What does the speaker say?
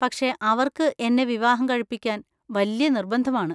പക്ഷേ, അവർക്ക് എന്നെ വിവാഹം കഴിപ്പിക്കാൻ വല്യ നിർബന്ധമാണ്.